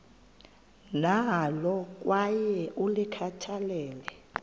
nalo kwaye ulikhathalele